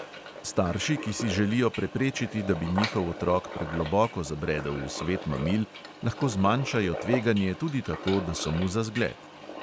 Starši, ki si želijo preprečiti, da bi njihov otrok pregloboko zabredel v svet mamil, lahko zmanjšajo tveganje tudi tako, da so mu za zgled.